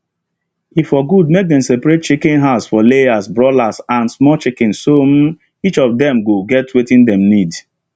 e for good make dem separate chicken house for layers broilers and small chicken so um each of dem go get wetin dem need